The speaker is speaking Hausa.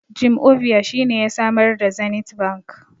Jim Ovia shine ya samar da Zenith bank